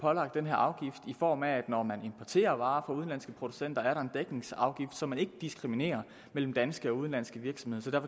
pålagt den her afgift for når man importerer varer fra udenlandske producenter er der en dækningsafgift så man ikke diskriminerer mellem danske og udenlandske virksomheder